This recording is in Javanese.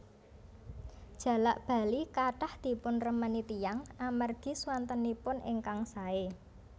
Jalak bali kathah dipunremeni tiyang amargi swantenipun ingkang saé